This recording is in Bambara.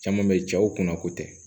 Caman bɛ yen cɛw kunna ko tɛ